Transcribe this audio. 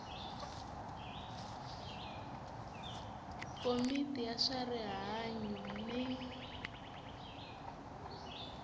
komiti ya swa rihanyu ni